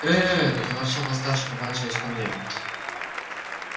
ээ заворчал восставший поворачиваясь ко мне